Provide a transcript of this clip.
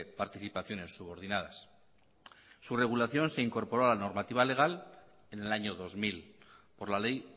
participaciones subordinadas su regulación se incorporó a la normativa legal en el año dos mil por la ley